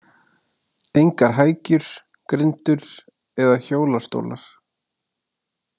Engar hækjur, grindur eða hjólastólar.